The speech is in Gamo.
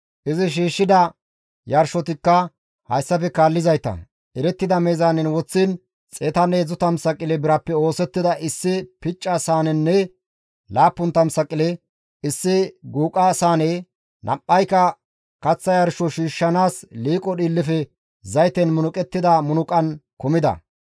Izi shiishshida yarshotikka hayssafe kaallizayta, erettida meezaanen woththiin 130 saqile birappe oosettida issi picca saanenne 70 saqile issi guuqa saane, nam7ayka kaththa yarsho shiishshanaas liiqo dhiillefe zayten munuqettida munuqan kumida.